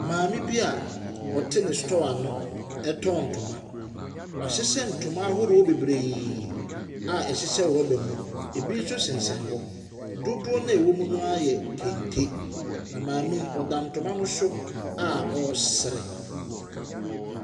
Mmame bi a ɔte ne store ano retɔn ntoma, wahyehyɛ ntoma ahodoɔ bebree a ɛhyehyɛ rɔba mu, ɛbi nso sensɛn hɔ. Dodoɔ no a ɛwɔ mu no ara yɛ kente, na maame yi, ɔda kente no so a ɔresere.